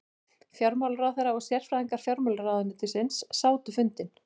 Fjármálaráðherra og sérfræðingar fjármálaráðuneytisins sátu fundinn